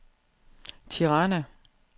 Tirana